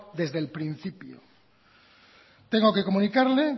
desde el principio tengo que comunicarle